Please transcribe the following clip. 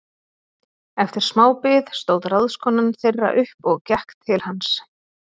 Eftir sma bið stóð ráðskonan þeirra upp og gekk til hans.